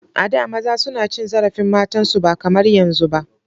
A da maza suna cin zarafin matan su ba kamar yanzun ba.